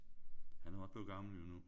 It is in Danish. Han er jo også blevet gammel jo nu